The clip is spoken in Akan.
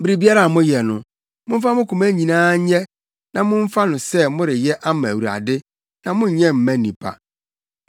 Biribiara a moyɛ no, momfa mo koma nyinaa nyɛ na momfa no sɛ moreyɛ ama Awurade na monnyɛ mma nnipa.